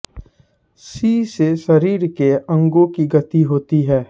सी से शरीर के अंगों की गति होती है